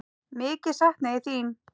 Mikið sakna ég þín.